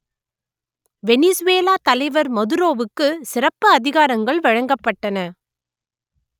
Venezuela தலைவர் மதுரோவுக்கு சிறப்பு அதிகாரங்கள் வழங்கப்பட்டன